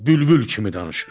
Bülbül kimi danışır.